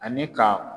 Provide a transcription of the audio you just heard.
Ani ka